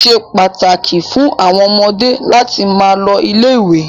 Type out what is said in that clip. Ó ṣe pàtàkì fún ọmọdé láti máa lọ ilé-ìwé.